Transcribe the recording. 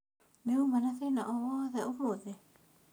Nĩ uma na thĩna o wothe ũmũthĩ?